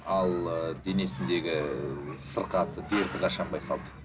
ал ы денесіндегі сырқаты дерті қашан байқалды